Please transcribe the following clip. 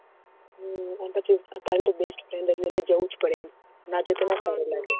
હમ અને પછી તો તારી તો best friend એટલે જવું જ પડે એમ ના જો તો ના સારું લાગે